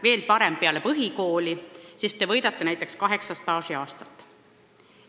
Veel parem, minge kohe peale põhikooli, siis võidate näiteks kaheksa staažiaastat!